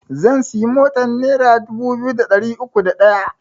Zan siya motan nera dubu biyu da ɗari uku da ɗaya